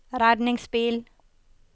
redningsbil